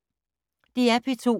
DR P2